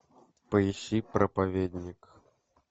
поищи проповедник